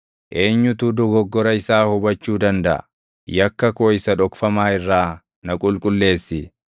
Eenyutu dogoggora isaa hubachuu dandaʼa? Yakka koo isa dhokfamaa irraa na qulqulleessi.